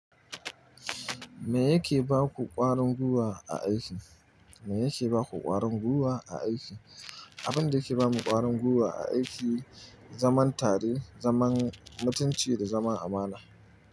Me yake baku ƙwarin gwiwa a aiki? Me yake baku ƙwarin guwa a aiki? Abin da yake ba mu ƙwarin gwiwa a aiki, zaman tare, zaman mutunci da zaman amana.